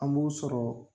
An b'u sɔrɔ